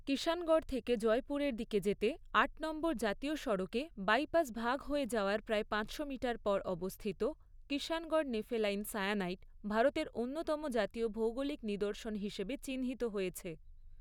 কিষাণগড় থেকে জয়পুরের দিকে যেতে আট নম্বর জাতীয় সড়কে বাইপাস ভাগ হয়ে যাওয়ার প্রায় পাঁচশো মিটার পর অবস্থিত কিষাণগড় নেফেলাইন সায়ানাইট ভারতের অন্যতম জাতীয় ভৌগোলিক নিদর্শন হিসাবে চিহ্নিত হয়েছে।